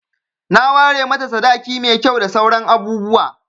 Na ware mata sadaki mai kyau da sauran abubuwa.